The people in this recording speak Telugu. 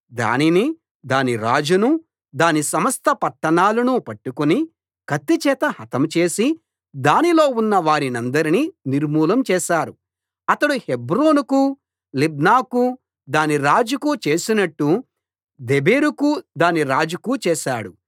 దానినీ దాని రాజునూ దాని సమస్త పట్టణాలనూ పట్టుకుని కత్తి చేత హతం చేసి దానిలో ఉన్న వారినందరినీ నిర్మూలం చేశారు అతడు హెబ్రోనుకూ లిబ్నాకూ దాని రాజుకూ చేసినట్లు దెబీరుకూ దాని రాజుకూ చేశాడు